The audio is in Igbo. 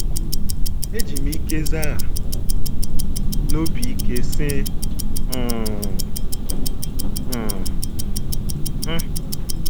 * Eji m ike zagha n’obi ike, sị, “ Mmm - mm - m!